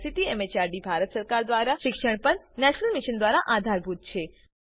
જેને ICT MHRD Bharat સરકાર મારફતે શિક્ષણ પર નેશનલ મિશન દ્વારા આધાર અપાયેલ છે